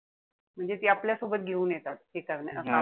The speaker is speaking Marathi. म्हणते ते आपल्यासोबत घेऊन येतात हे करण्या,